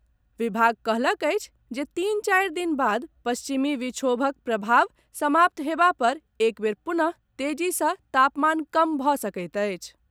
विभाग कहलक अछि जे तीन चारि दिन बाद पश्चिमी विक्षोभक प्रभाव समाप्त हेबा पर एक बेर पुनः तेजी सँ तापमान कम भऽ सकैत अछि।